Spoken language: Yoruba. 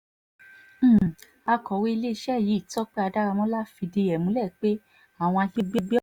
um akọ̀wé iléeṣẹ́ yìí tọ́pẹ́ adáramọ́lá fìdí ẹ̀ múlẹ̀ pé àwọn